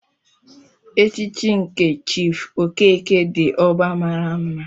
Echichi nke Chief okeke di ogba maara mma.